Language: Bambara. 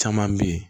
Caman bɛ yen